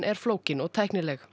er flókin og tæknileg